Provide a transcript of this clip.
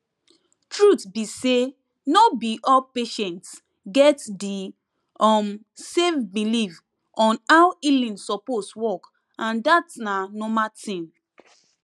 truth be say no be all patients get di um same belief on how healing suppose work and dat na normal thing